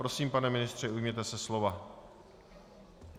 Prosím, pane ministře, ujměte se slova.